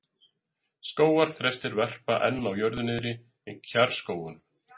Skógarþrestir verpa enn á jörðu niðri í kjarrskógunum.